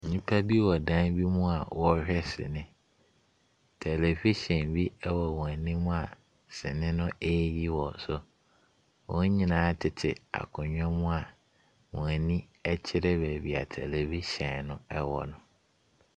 Nnipa bi wɔ dan bi mu a wɔrehwɛ sini. Tɛlɛvihyɛn bi wɔ wɔn anim a sini no reyi wɔ so. Wɔn nyinaa tete akonnwa mu a wɔn ani kyerɛ baabi a tɛlɛvihyɛn no wɔ no.